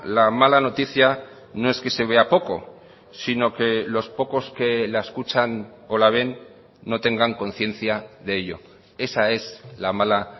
la mala noticia no es que se vea poco sino que los pocos que la escuchan o la ven no tengan conciencia de ello esa es la mala